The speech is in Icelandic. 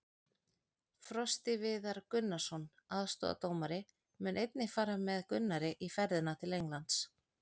Frosti Viðar Gunnarsson, aðstoðardómari, mun einnig fara með Gunnari í ferðina til Englands.